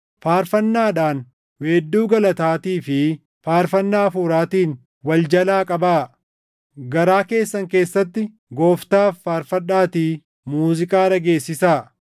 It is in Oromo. faarfannaadhaan, weedduu galataatii fi faarfannaa Hafuuraatiin wal jalaa qabaa. Garaa keessan keessatti Gooftaaf faarfadhaatii muuziiqaa dhageessisaa;